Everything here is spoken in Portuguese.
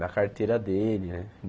Da carteira dele, né?